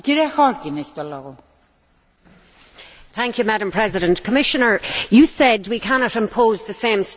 Madam President, the Commissioner said we cannot impose the same standards, but we must ensure they have an equivalent effect.